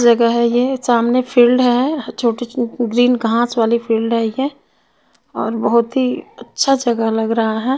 जगा है ये सामने फील्ड है छोटे छो ग्रीन घास वाली फील्ड है ये और बहुतही अच्छा जगा लग रहा है.